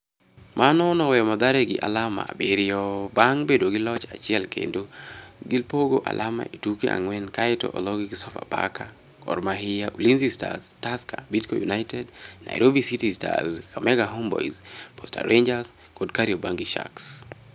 Mano noweyo Mathare gi alama abiriyo bang' bedo gi loch achiel kendo gipogo alama e tuke ang'wen kaeto ologi gi Sofapaka, Gor Mahia, Ulinzi Stars, Tusker, Bidco United, Nairobi City Stars, Kakamega Homeboyz, Posta Rangers kod Kariobangi Sharks.